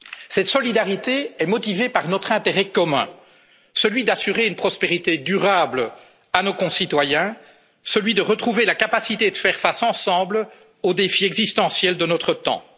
la solidarité. Cette solidarité est motivée par notre intérêt commun celui d'assurer une prospérité durable à nos concitoyens, celui de retrouver la capacité de faire face ensemble aux défis existentiels